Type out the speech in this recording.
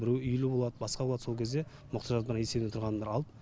біреу үйлі болады басқа болады сол кезде мұқтаж адамдардың есебінде тұрған адамдар алып